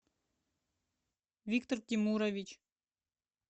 виктор тимурович